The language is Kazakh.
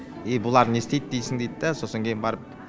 ей бұлар не істейт дейсің дейді да сосын кейін барып